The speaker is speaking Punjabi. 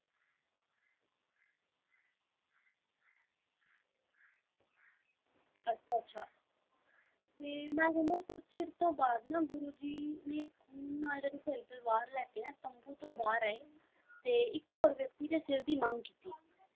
ਅੱਛਾ ਅੱਛਾ ਤੇ ਮੈਂ ਸੁਣਿਆ ਕੁਛ ਚਿਰ ਤੋਂ ਬਾਅਦ ਨਾ ਗੁਰੂ ਜੀ ਨੇ ਖੂਨ ਨਾਲ ਜਿਹੜੀ ਤਲਵਾਰ ਲੈ ਕੇ ਨਾ ਤੰਬੂ ਤੋਂ ਬਾਹਰ ਆਏ ਤੇ ਇੱਕ ਹੋਰ ਵਿਅਕਤੀ ਦੇ ਸਿਰ ਦੀ ਮੰਗ ਕੀਤੀ।